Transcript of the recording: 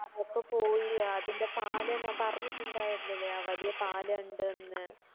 അതൊക്കെ പോയി അതിൻറെ പാലം ഞാൻ അപറഞ്ഞിട്ടിണ്ടായിരുന്നില്ലേ ആ വലിയ പാലം ഇണ്ട്ന്ന്